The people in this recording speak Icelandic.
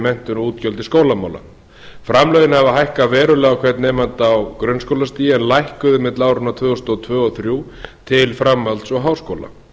menntun og útgjöld til skólamála framlögin hafa hækkað verulega á hvern nemanda á grunnskólastigi en lækkuðu milli áranna tvö þúsund og tvö til tvö þúsund og þrjú til framhalds og háskóla